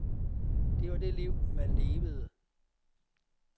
Det var det liv, man levede.